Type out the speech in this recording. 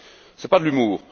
Ce n'est pas de l'humour.